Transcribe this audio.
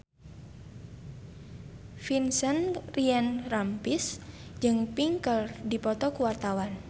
Vincent Ryan Rompies jeung Pink keur dipoto ku wartawan